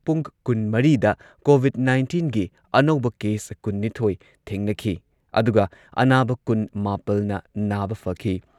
ꯄꯨꯡ ꯀꯨꯟꯃꯔꯤꯗ ꯀꯣꯚꯤꯗ ꯅꯥꯢꯟꯇꯤꯟꯒꯤ ꯑꯅꯧꯕ ꯀꯦꯁ ꯀꯨꯟꯅꯤꯊꯣꯏ ꯊꯦꯡꯅꯈꯤ ꯑꯗꯨꯒ ꯑꯅꯥꯕ ꯀꯨꯟ ꯃꯥꯄꯜꯅ ꯅꯥꯕ ꯐꯈꯤ꯫